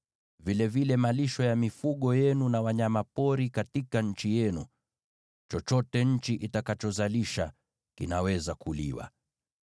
vilevile malisho ya mifugo yenu na wanyama pori katika nchi yenu. Chochote nchi itakachozalisha kinaweza kuliwa.